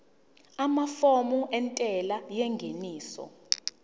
amafomu entela yengeniso